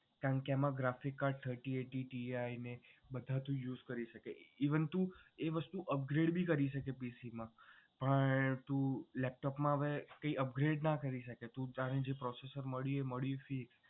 જેમાં graphic card thirty eighty ti ને બધા જ use કરી શકે even તું PC માં upgrade પણ તું કરી શકે પણ તું laptop માં હવે તું upgrade ના કરી શકે તું તારે જે processor મળ્યું એ મળ્યું